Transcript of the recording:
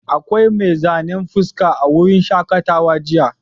Akwai mai zanen fuska a wurin shaƙatawa jiya.